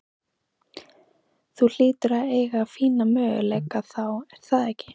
Þú hlýtur að eiga fína möguleika þá er það ekki?